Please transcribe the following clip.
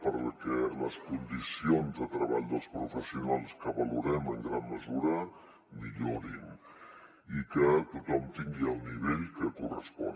perquè les condicions de treball dels professionals que valorem en gran mesura millorin i que tothom tingui el nivell que correspon